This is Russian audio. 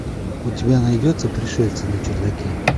у тебя найдется пришельцы на чердаке